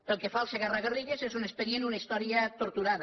pel que fa al segarra garrigues és un expedient una història torturada